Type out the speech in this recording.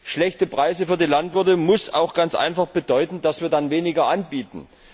Schlechte Preise für die Landwirte müssen auch ganz einfach bedeuten, dass wir dann weniger anbieten.